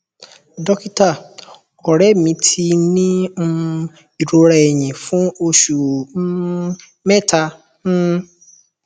dókítà ọrẹ mi ti ń ní um ìrora ẹyìn fún oṣù um mẹta um